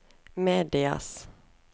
medias